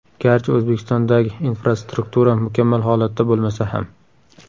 Garchi O‘zbekistondagi infrastruktura mukammal holatda bo‘lmasa ham.